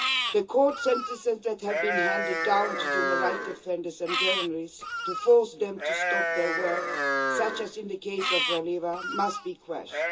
The court sentences that have been handed down to human rights defenders and journalists to force them to stop their work, such as in the case of Raleva, must be quashed.